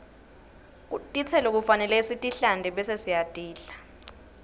tistelo kufanele sitihlante bese sitidla